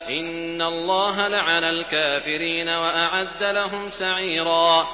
إِنَّ اللَّهَ لَعَنَ الْكَافِرِينَ وَأَعَدَّ لَهُمْ سَعِيرًا